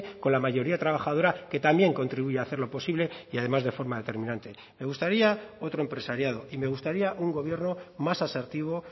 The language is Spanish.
con la mayoría trabajadora que también contribuye hacerlo posible y además de forma determinante me gustaría otro empresariado y me gustaría un gobierno más asertivo